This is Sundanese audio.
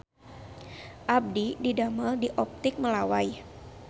Abdi didamel di Optik Melawai